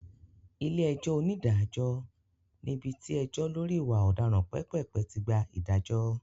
Ilé-ẹjọ́ onídàájọ́ ní ibi tí ẹjọ́ lọ́rí ìwà ọ̀daràn pépèpé tí gba ìdájọ́.